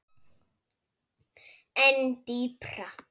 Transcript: En dýpra?